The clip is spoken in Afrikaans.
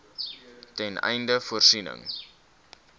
ten einde voorsiening